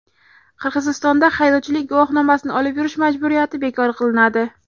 Qirg‘izistonda haydovchilik guvohnomasini olib yurish majburiyati bekor qilinadi.